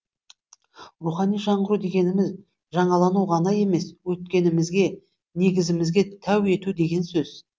рухани жаңғыру дегеніміз жаңалану ғана емес өткенімізге негізімізге тәу ету деген сөз